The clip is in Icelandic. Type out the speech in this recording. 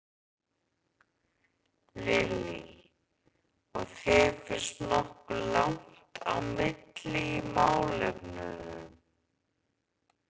Lillý: Og þér finnst nokkuð langt á milli í málefnunum?